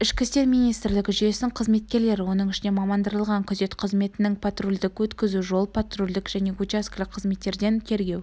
ішкі істер министрлігі жүйесінің қызметкерлері оның ішінде мамандандырылған күзет қызметінің патрульдік-өткізу жол-патрульдік және учаскелік қызметтердің тергеу